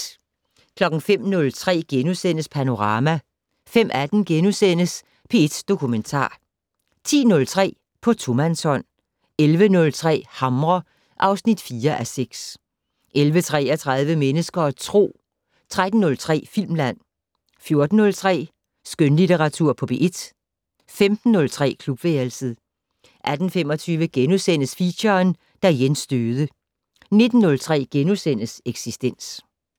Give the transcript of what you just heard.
05:03: Panorama * 05:18: P1 Dokumentar * 10:03: På tomandshånd 11:03: Hamre (4:6) 11:33: Mennesker og Tro 13:03: Filmland 14:03: Skønlitteratur på P1 15:03: Klubværelset 18:25: Feature: Da Jens døde * 19:03: Eksistens *